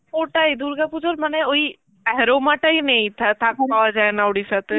ওটাই দুর্গা পুজোর মানে ওই aroma তাই নেই থে~ ঠাকু পাওয়া যায় না উড়িষ্যাতে